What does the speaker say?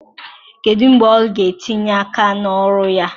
Kedu mgbe ọ ga-etinye aka na ọrụ ya?